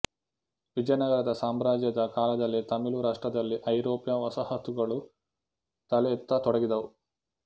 ವಿಜಯನಗರ ಸಾಮ್ರಾಜ್ಯದ ಕಾಲದಲ್ಲಿ ತಮಿಳು ರಾಷ್ಟ್ರದಲ್ಲಿ ಐರೋಪ್ಯ ವಸಾಹತುಗಳು ತಲೆ ಎತ್ತತೊಡಗಿದವು